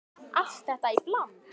Allt þetta í bland?